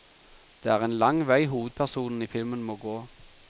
Det er en lang vei hovedpersonene i filmen må gå.